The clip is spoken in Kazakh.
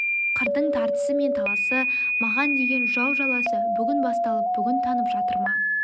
қырдың тартысы мен таласы маған деген жау жаласы бүгін басталып бүгін тынып жатыр ма